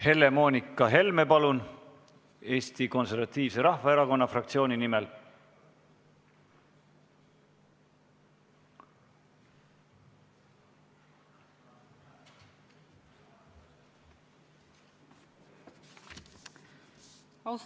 Helle-Moonika Helme, palun, Eesti Konservatiivse Rahvaerakonna fraktsiooni nimel!